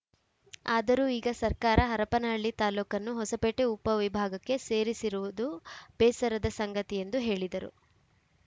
ಆದರೂ ಈಗ ಸರ್ಕಾರ ಹರಪನಹಳ್ಳಿ ತಾಲೂಕನ್ನು ಹೊಸಪೇಟೆ ಉಪವಿಭಾಗಕ್ಕೆ ಸೇರಿಸಿರುವುದು ಬೇಸರದ ಸಂಗತಿ ಎಂದು ಹೇಳಿದರು